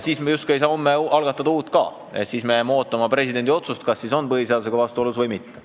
Siis me justkui ei saa homme algatada ka uut seadust, me jääme ootama presidendi otsust, kas on põhiseadusega vastuolus või mitte.